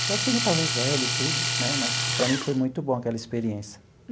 Eu acho que ele já estava velho e tudo né, mas, para mim, foi muito boa aquela experiência.